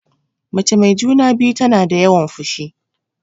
Mace mai juna-biyu tana da yawan fushi.